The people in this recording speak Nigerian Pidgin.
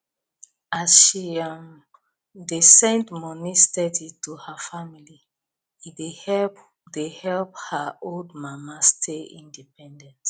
as she um dey send money steady to her family e dey help dey help her old mama stay independent